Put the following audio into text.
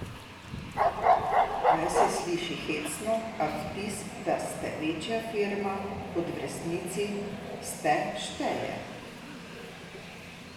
Naj se sliši hecno, a vtis, da ste večja firma kot v resnici ste, šteje.